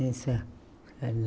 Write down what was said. Essa.